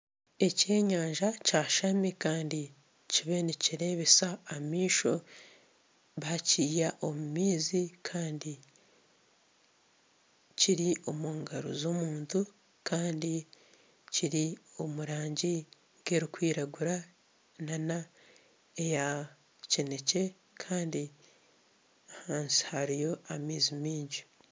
Eky'enyanja kyashami kandi kibire nikirebesa amaisho Kandi bakyiha omumaizi kiri omungaro z'omuntu kandi kiri omurangi nkerukwiragura n'eyakinekye kandi ahansi hariyo amaizi maingi.